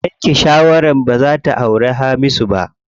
Ta yanke shawara baza ta auri Hamisu ba.